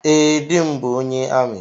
Ee, di m bụ ónyé amị